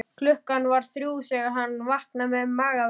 Klukkan var þrjú þegar hann vaknaði með magaverk.